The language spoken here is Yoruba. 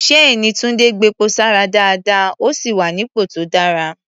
Ṣséèní Túńdé gbepo sára dáadáa, ó sì wà nípò tó dára.